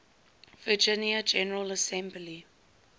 virginia general assembly